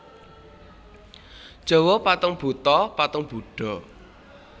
Jawa Patung Buto patung Budha